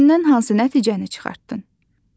Mətndən hansı nəticəni çıxartdın?